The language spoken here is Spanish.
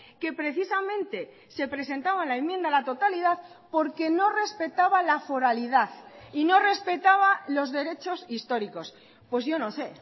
que precisamente se presentaba la enmienda a la totalidad porque no respetaba la foralidad y no respetaba los derechos históricos pues yo no sé